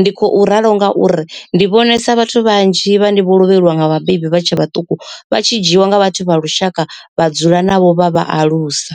Ndi khou ralo ngauri ndi vhonesa vhathu vhanzhi vhane vho lovheliwa nga vhabebi vha tshe vhaṱuku vha tshi dzhiiwa nga vhathu vha lushaka vha dzula navho vha vha alusa.